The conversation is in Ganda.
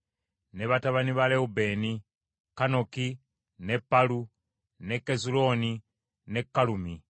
ne batabani ba Lewubeeni: Kanoki, ne Palu, ne Kezulooni ne Kalumi.